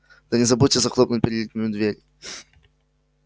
да не забудьте захлопнуть переднюю дверь